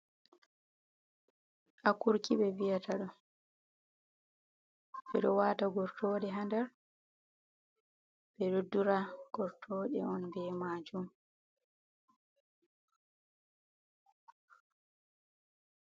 A kurki ɓe vi’ata ɗo ɓeɗo wata gortode ha nder ɓeɗo dura gortode on be majun.